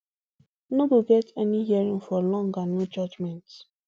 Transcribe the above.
no go get any hearing for long and no judgement